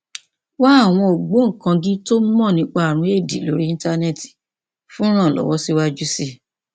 wá àwọn ògbóǹkangí tó mọ nípa ààrùn éèdì lórí íńtánẹẹtì fún ìrànlọwọ síwájú sí i